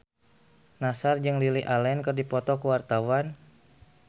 Nassar jeung Lily Allen keur dipoto ku wartawan